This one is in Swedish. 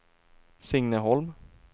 Signe Holm